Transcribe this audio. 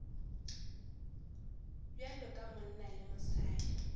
bjalo ka monna le mosadi